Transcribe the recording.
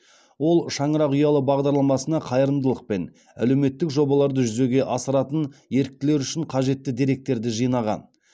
ол шаңырақ ұялы бағдарламасына қайырымдылық пен әлеуметтік жобаларды жүзеге асыратын еріктілер үшін қажетті деректерді жинаған